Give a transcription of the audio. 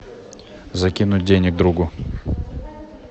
закинуть денег другу